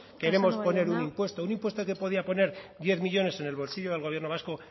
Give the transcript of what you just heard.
queremos poner un impuesto un impuesto que podía poner diez millónes en el bolsillo del gobierno vasco